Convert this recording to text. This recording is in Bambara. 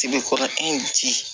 Tigi kɔrɔkɛ ji